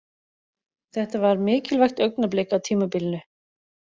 Þetta var mikilvægt augnablik á tímabilinu.